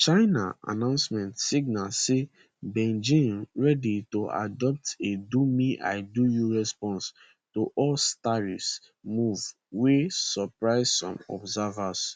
china announcement signal say beijing ready to adopt a domeidoyou response to us tariffs move wey surprise some observers